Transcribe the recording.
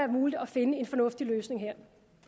muligt at finde en fornuftig løsning her